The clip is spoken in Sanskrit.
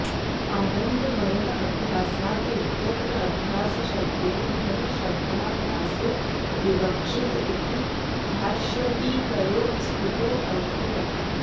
आनन्दमयः अभ्यासात् इत्यत्र अभ्यासशब्देन ब्रह्मशब्दाभ्यासो विवक्षित इति भाष्यटीकयोः स्फुटोऽर्थः